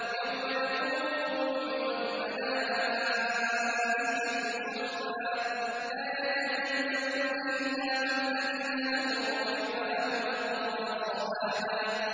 يَوْمَ يَقُومُ الرُّوحُ وَالْمَلَائِكَةُ صَفًّا ۖ لَّا يَتَكَلَّمُونَ إِلَّا مَنْ أَذِنَ لَهُ الرَّحْمَٰنُ وَقَالَ صَوَابًا